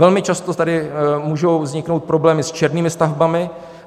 Velmi často tady můžou vzniknout problémy s černými stavbami.